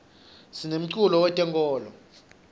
sinemculo we tenkolo